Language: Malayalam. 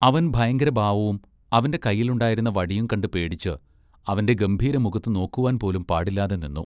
അവൻ ഭയങ്കരഭാവവും അവന്റെ കയ്യിലുണ്ടായിരുന്ന വടിയും കണ്ട് പേടിച്ച് അവന്റെ ഗംഭീര മുഖത്തു നോക്കുവാൻ പോലും പാടില്ലാതെ നിന്നു.